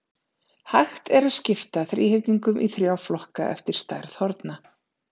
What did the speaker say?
Hægt er að skipta þríhyrningum í þrjá flokka eftir stærð horna.